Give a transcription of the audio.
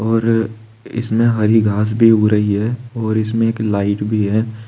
और इसमें हरी घास भी उग रही है और इसमें एक लाइट भी है।